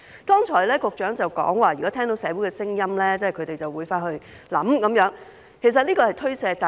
局長剛才說，如果聽到社會有聲音，他們便會回去想想，但這其實是推卸責任。